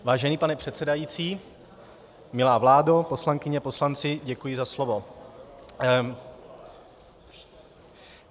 Vážený pane předsedající, milá vládo, poslankyně, poslanci, děkuji za slovo.